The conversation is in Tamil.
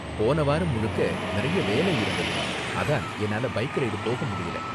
போன வாரம் முழுக்க நிறைய வேலை இருந்தது, அதான் என்னால பைக் ரைடு போக முடியல.